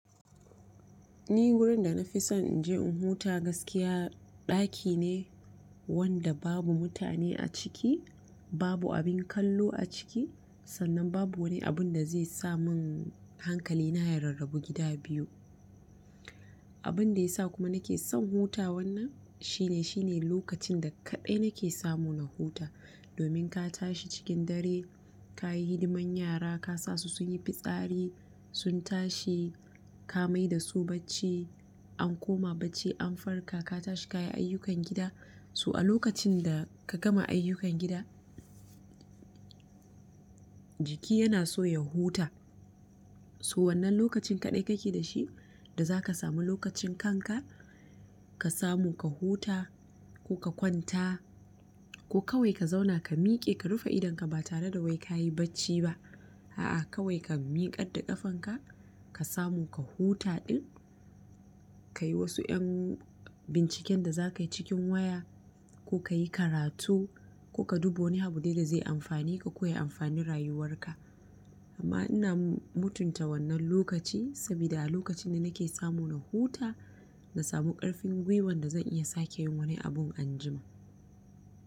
Ni wurin da nafi son in je in huta gaskiya ɗaki ne wanda babu mutane a ciki, babu abin kallo a ciki sannan babu wani abun da zai sa mun hankali na ya rarrabu gida biyu. Abin da ya sa kuma nake son huta wannan, shine shine lokacin da kaɗai nake samu na huta. Domin ka tashi cikin dare, ka yi hidiman yara, ka sa su sun yi fitsari, sun tashi, ka mai da su bacci, an koma bacci, an farka, ka tashi ka yi ayyukan gida. To a lokacin da ka gama ayyukan gida jiki yana so ya huta. To wannan lokacin kaɗai kake da shi da zaka samu lokacin kanka ka samu ka huta ko ka kwanta ko kawai ka zauna ka miƙe ka rufe idonka ba tare da wai ka yi bacci ba. A'a kawai ka miƙar da ƙafanka ka samu ka huta ɗin, ka yi wasu ƴan binciken da zaka yi cikin waya, ko ka yi karatu, ko ka duba wani abu dai da zai amfane ka ko ya amfani rayuwarka. Amma ina mutunta wannan lokaci sabida a lokacin ne nake samu na huta na samu ƙarfin gwuiwan da zan iya sake yin wani abun anjima.